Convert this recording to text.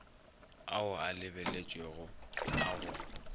ao a lebeletšwego a go